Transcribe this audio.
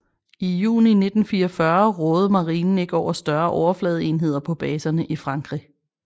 I juni 1944 rådede marinen ikke over større overfladeenheder på baserne i Frankrig